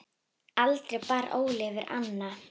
Aldrei bar Óli yfir ána.